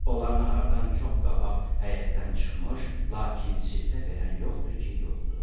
Onlar nahardan çox qabaq həyətdən çıxmış, lakin siftə verən yoxdur ki, yoxdur.